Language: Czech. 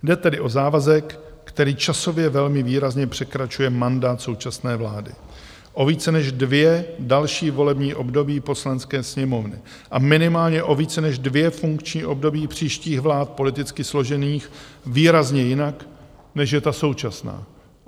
Jde tedy o závazek, který časově velmi výrazně překračuje mandát současné vlády o více než dvě další volební období Poslanecké sněmovny a minimálně o více než dvě funkční období příštích vlád, politicky složených výrazně jinak, než je ta současná.